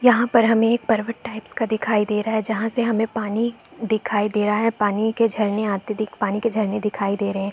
यहाँ पर हमे पर्वत टाइप्स का दिखाई दे रहा है जहाँ से हमे पानी दिखाई दे रहा है पानी के झरने आते दि पानी के झरने दिखाई दे रहे है।